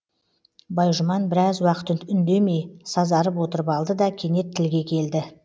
байжұман біраз уақыт үндемей сазарып отырып алды да кенет тілге келді